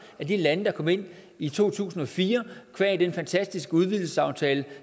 lande der kom ind i to tusind og fire qua den fantastiske udvidelsesaftale